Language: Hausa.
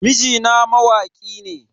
Mijina mawaki ne.